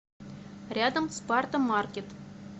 рядом спарта маркет